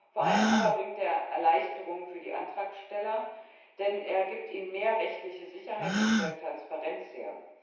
Vor allem aber bringt er Erleichterungen für die Antragsteller, denn er gibt ihnen mehr rechtliche Sicherheit und stellt Transparenz her.